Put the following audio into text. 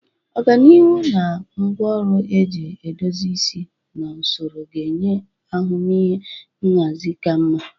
Ọganihu na ngwaọrụ eji edozi isi na usoro ga-enye ahụmịhe nhazi ka mma.